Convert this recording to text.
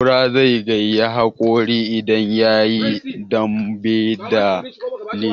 Kura zai karya haƙori idan yayi dambe da dila.